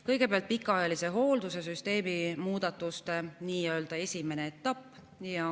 Kõigepealt pikaajalise hoolduse süsteemi muudatuste nii‑öelda esimene etapp.